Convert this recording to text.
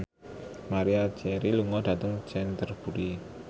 Maria Carey lunga dhateng Canterbury